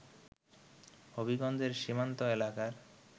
হবিগঞ্জের সীমান্ত এলাকার